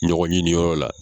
Ɲɔgɔn ɲini yɔrɔ la.